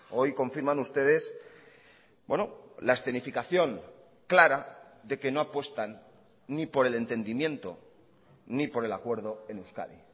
hoy confirman ustedes la escenificación clara de que no apuestan ni por el entendimiento ni por el acuerdo en euskadi